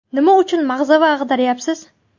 Nima uchun mag‘zava ag‘daryapsiz?